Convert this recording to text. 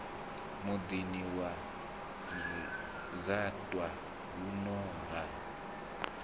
muḓini wa dzaṱa huno ha